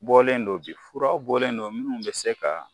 Bɔlen do bi fura bɔlen do minnu bɛ se ka